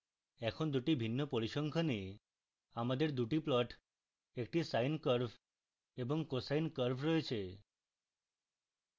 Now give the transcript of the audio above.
এখন দুটি ভিন্ন পরিসংখ্যানে আমাদের দুটি plots একটি sine curve এবং cosine curve রয়েছে